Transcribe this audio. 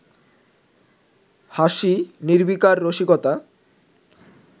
হাসি, নির্বিকার রসিকতা